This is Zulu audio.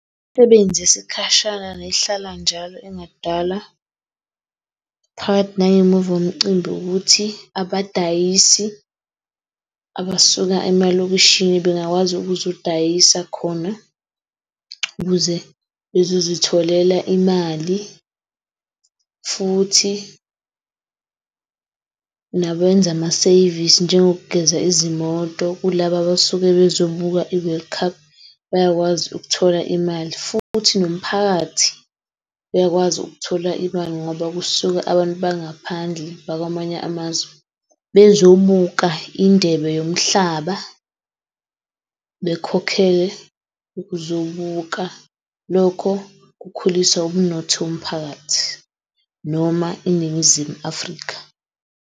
Imsebenzi yesikhashana nehlala njalo engadala phakathi nangemuva komcimbi ukuthi abadayisi abasuka emalokishini bengakwazi ukuzodayisa khona ukuze bezozitholela imali futhi nakwenza ama-service njengoku geza izimoto kulaba abasuke bezobuka i-World Cup. Bayakwazi ukuthola imali futhi nomphakathi uyakwazi ukuthola imali ngoba kusuka abantu bangaphandle bakwamanye amazwe bezobuka indebe yomhlaba. Bekhokhele ukuzobuka lokho kukhulisa umnotho wophakathi noma iNingizimu Afrika.